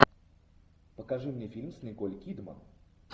покажи мне фильм с николь кидман